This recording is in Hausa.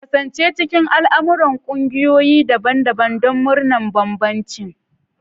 Kasance cikin al'amuran ƙungiyoyi daban-daban don murnar bambancin.